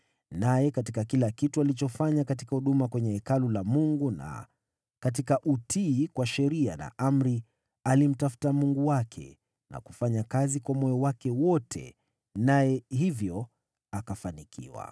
Naye katika kila kitu alichofanya katika huduma kwenye Hekalu la Mungu na katika utii kwa sheria na amri, alimtafuta Mungu wake na kufanya kazi kwa moyo wake wote. Naye hivyo akafanikiwa.